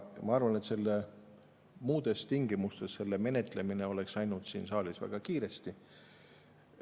Ma arvan, et selle muudes tingimustes menetlemine oleks läinud siin saalis väga kiiresti.